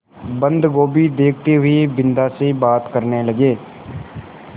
बन्दगोभी देखते हुए बिन्दा से बात करने लगे